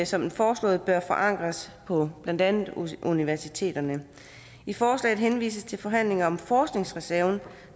som den foreslåede bør forankres på blandt andet universiteterne i forslaget henvises til forhandlinger om forskningsreserven